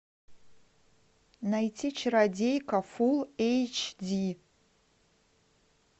найти чародейка фулл эйч ди